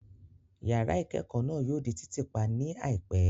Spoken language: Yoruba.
Yàrá ìkẹ́kọ̀ náà yóò di títì pa ní àìpẹ́